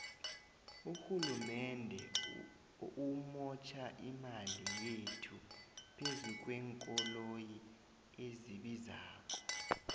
urhulumende umotjha imali yethu phezukwenkoloyi ezibizako